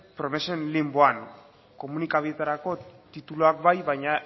promesen linboan komunikabideetarako tituluak ba i baina